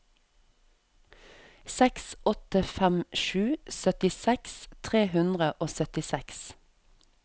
seks åtte fem sju syttiseks tre hundre og syttiseks